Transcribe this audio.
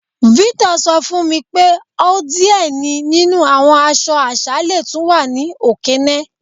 Victor sọ fun mi pé ọ diẹ̀ ni nínu awọn àṣọ̀ àṣà lẹ́ túń wà ni Okene.